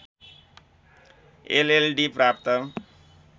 LLD प्राप्त